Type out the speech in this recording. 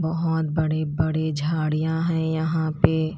बहोत बड़े बड़े झड़ियाँ हैं यहां पे--